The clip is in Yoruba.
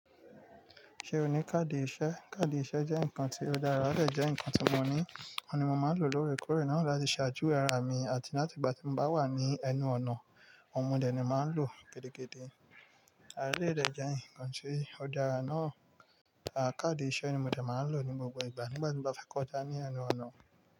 Ṣé o ní káàdì ìṣẹ́? Káàdì ìṣẹ́ jẹ́ nǹkan tí ó dára, odè jẹ́ nǹkan tí mo ní, òun ni mo máa ń lò lóre kọ̀re náà láti ṣàjuwe ara mi àti láti ìgbà tí mo bá wà ní ẹnu ọ̀nà. Òun mò ní èmi máa ń lò kétèkétè. Àh eleyi dè jẹ́ nǹkan tí ó dára náà. Káàdì ìṣẹ́ ni mò de máa ń lò ní gbogbo ìgbà nígbà tí mo bá fẹ́ kọjá ní ẹnu ọ̀nà.